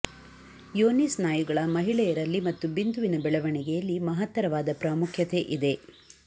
ಯೋನಿ ಸ್ನಾಯುಗಳ ಮಹಿಳೆಯರಲ್ಲಿ ಮತ್ತು ಬಿಂದುವಿನ ಬೆಳವಣಿಗೆಯಲ್ಲಿ ಮಹತ್ತರವಾದ ಪ್ರಾಮುಖ್ಯತೆ ಇದೆ